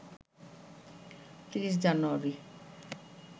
৩০ জানুয়ারি